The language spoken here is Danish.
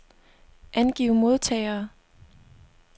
Angiv modtagere.